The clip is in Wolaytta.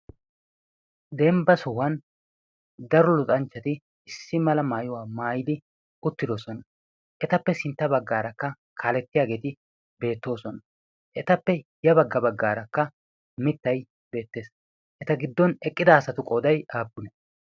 dembba sohuwan daro luxanchchati issi mala maayuwaa maayidi uttidoosona. etappe sintta baggaarakka kaalettiyaageeti beettoosona. etappe ya bagga baggaarakka mittai beettees. eta giddon eqqida asatu qoodai aappune?